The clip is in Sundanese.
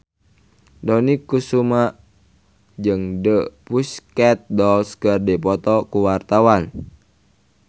Dony Kesuma jeung The Pussycat Dolls keur dipoto ku wartawan